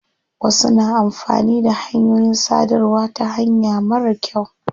Wasu na amfani da hanyoyin sadarwa ta hanya marar kyau.